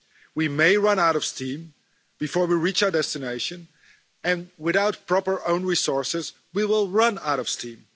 We may run out of steam before we reach our destination, and without proper own resources we will run out of steam.